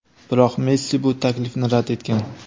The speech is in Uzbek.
biroq Messi bu taklifni rad etgan.